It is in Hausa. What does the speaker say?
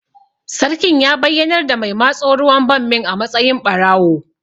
Sarkin ya bayyanar da mai matso ruwan bammin a matsayin ɓarawo